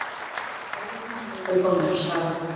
Lögreglumenn voru þá komnir á staðinn